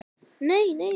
I